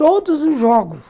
Todos os jogos.